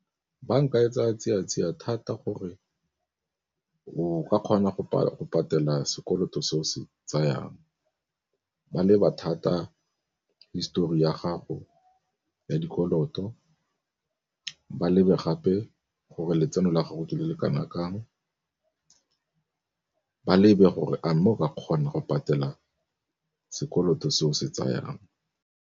Banka e tsaya tsia thata gore o ka kgona go patela sekoloto se o se tsayang, ba leba thata hisitori ya gago ya dikoloto ba lebe gape gore letseno la gago ke le le kana kang, ba lebe gore a mme o ka kgona go patela sekoloto se o se tsayang.